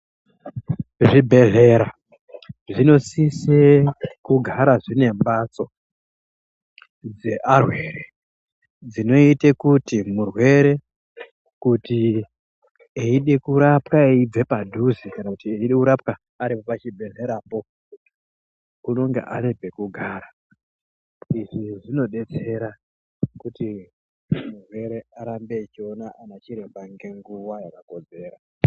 Zvibhedhlera zvinosisa kugara zvine mbatso yearwere dzinoite kuti murwere eyirapwa eyibva padhuze kana kuti eida kurapwa aripo pachibhedhlera po anenge anepekugara izvi zvinodetsera kuti murwere arambe echiona anachiremba nenguva yakakodzera.